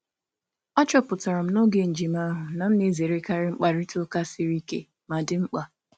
M chọpụtara n’oge ije ije na m na-ezerekarị mkparịta ụka siri ike mana dị mkpa.